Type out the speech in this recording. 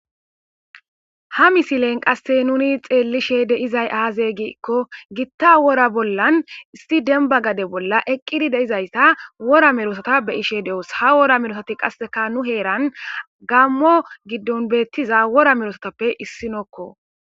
Ha misilen qasse nuni xeellishe deizay aaze gikko gitta wora bollan issi denbagade bolla eqqidi deizayssa wora merosata be ishe de'os ha wora merosati qasseka nu heeran gammo giddon beettiza wora merosotappe issinokko